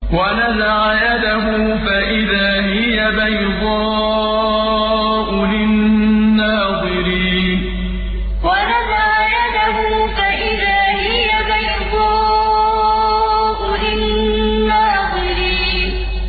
وَنَزَعَ يَدَهُ فَإِذَا هِيَ بَيْضَاءُ لِلنَّاظِرِينَ وَنَزَعَ يَدَهُ فَإِذَا هِيَ بَيْضَاءُ لِلنَّاظِرِينَ